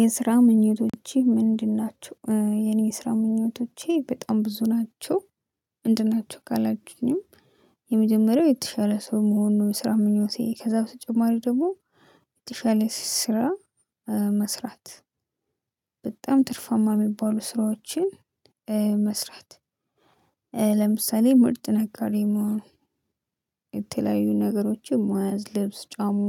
የስራ ምኞቶቼ ምንድን ናቸው? የኔ የስራ ምኞቶቼ በጣም ብዙ ናቸው። ምንድን ናቸው? ካላቹኝም። የመጀመሪያው የተሻለ ሰው መሆኑን የስራ ምኞቴ ከዛ በተጨማሪ ደግሞ የተሻለ ስራ። መስራት። በጣም ትርፋማ የሚባሉ ስራዎችን መስራት። ለምሳሌ ምርጥ ነጋዴ መሆኑ። የተለያዩ ነገሮችን መዋዝ ልብስ ጫማ።